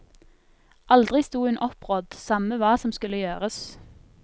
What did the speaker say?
Aldri stod hun opprådd, samme hva som skulle gjøres.